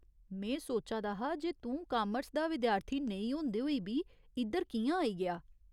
में सोचा दा हा जे तूं कामर्स दा विद्यार्थी नेईं होंदे होई बी इद्धर कि'यां आई गेआ।